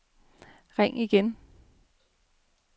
ring igen